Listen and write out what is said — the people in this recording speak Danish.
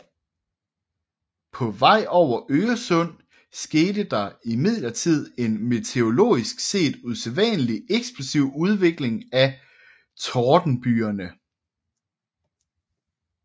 På vej over Øresund skete der imidlertid en meteorologisk set usædvanlig eksplosiv udvikling af tordenbygerne